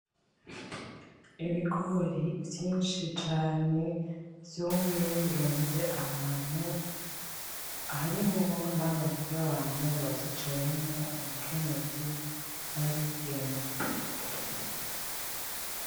Ibigori vyinshi cane, vyumye birunze ahantu harimwo n'abantu bavyicayemwo umukenyezi n'abigeme.